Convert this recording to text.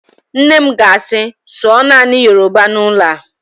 Nne m ga-asị, sụọ naanị Yoroba n'ụlọ a!